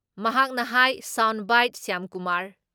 ꯃꯍꯥꯛꯅ ꯍꯥꯏ ꯁꯥꯎꯟ ꯕꯥꯏꯠ ꯁ꯭ꯌꯥꯝꯀꯨꯃꯥꯔ